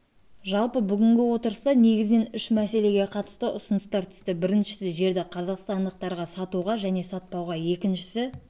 жалпы бүгінгі отырыста негізінен үш мәселеге қатысты ұсыныстар түсті біріншісі жерді қазақстандықтарға сатуға және сатпауға екіншісі